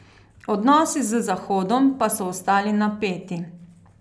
Odnosi z Zahodom pa so ostali napeti.